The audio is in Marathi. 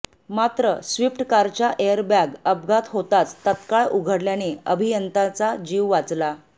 मात्र स्विप्ट कारच्या एअरबॅग अपघात होताच तत्काळ उघडल्याने अभियंताचा जिव वाचला